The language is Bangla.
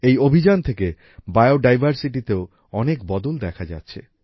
এই অভিযান থেকে বায়োডাইভার্সিটি তেও অনেক বদল দেখা যাচ্ছে